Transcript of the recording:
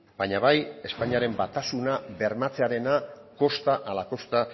baina bai espainiaren batasuna bermatzearena kosta ala kosta